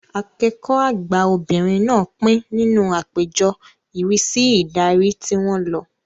Akẹ́kọ̀ọ́ àgbà obìnrin náà pín nínú àpéjọ ìrísí ìdarí tí wọ́n lọ